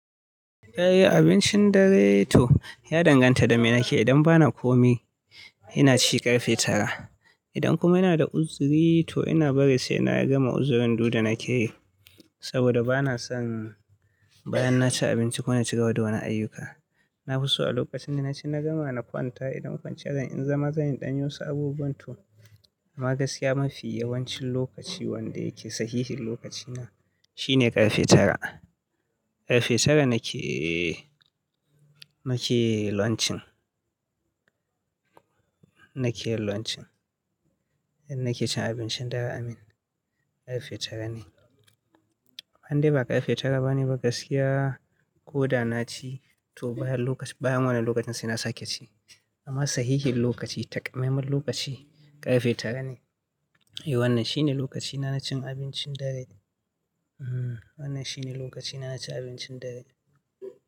Eh abincin dare to ya danganta da me nake yi. Idan ba na komai, ina ci ƙarfe tara. Idan kuma ina da uzuri to ina bari sai na gama uzurin duk da na ke yi saboda ba na son bayan na ci abinci ku ma shiga wani ayyuka. Na fi so a lokacin da na ci na gama na kwanta. Idan kwanciya zan in zama zan yi ɗanyi wasu abubuwan to ma gaskiya mafi yawancin lokaci wanda yake sahihin lokacina shine ƙarfe tara. Ƙarfe tara nake, nake launcin, nake launcin, idan nake cin abincin dare amin ƙarfe tara ne. Ban dai ba ƙarfe tara ba ne ba gaskiya ko da na ci to bayan lokacin, bayan wannan lokacin sai na sake ci amma sahihin lokaci takamaiman lokaci ƙarfe tara ne. Eh wannan shine lokacina na cin abincin dare. uHmm wannan shine lokacina na cin abincin dare.